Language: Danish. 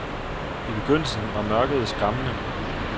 I begyndelsen var mørket skræmmende.